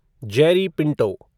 Jerry Pinto